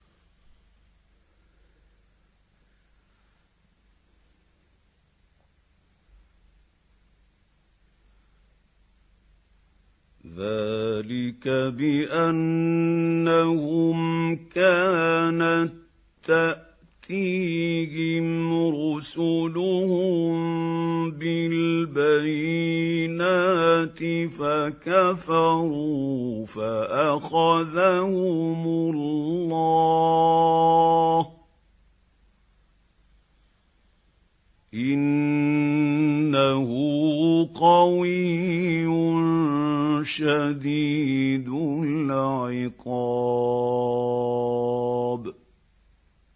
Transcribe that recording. ذَٰلِكَ بِأَنَّهُمْ كَانَت تَّأْتِيهِمْ رُسُلُهُم بِالْبَيِّنَاتِ فَكَفَرُوا فَأَخَذَهُمُ اللَّهُ ۚ إِنَّهُ قَوِيٌّ شَدِيدُ الْعِقَابِ